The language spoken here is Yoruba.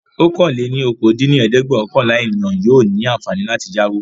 ọ̀kan-lé-ní-okòó dín ní ẹ̀ẹ́dẹ́gbẹ́ọ̀kànlá ènìyàn yóò ní àǹfààní láti yáwó.